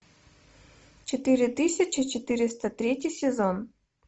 четыре тысячи четыреста третий сезон